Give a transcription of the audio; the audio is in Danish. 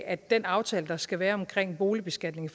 at den aftale der skal være omkring boligbeskatningen